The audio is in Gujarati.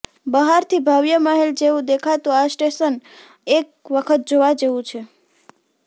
બાહરથી ભવ્ય મહેલ જેવું દેખાતું આ સ્ટેશન એક વખત જોવા જેવું છે